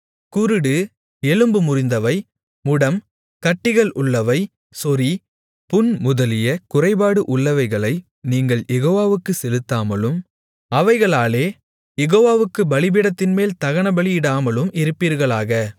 குருடு எலும்பு முறிந்தவை முடம் கட்டிகள் உள்ளவை சொறி புண் முதலிய குறைபாடு உள்ளவைகளை நீங்கள் யெகோவாவுக்குச் செலுத்தாமலும் அவைகளாலே யெகோவாவுக்குப் பலிபீடத்தின்மேல் தகனபலியிடாமலும் இருப்பீர்களாக